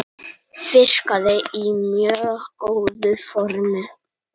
Virkaði í mjög góðu formi.